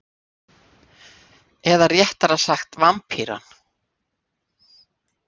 Eða réttara sagt Vampýran.